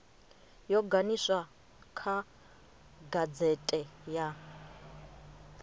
yo ganiswa kha gazete ya